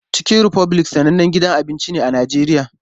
Chicken Republic sanannen gidan abinci ne a Najeriya.